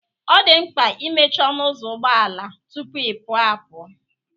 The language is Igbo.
Ọ dị mkpa imechi ọnụ ụzọ ụgbọ ala tupu ịpụ apụ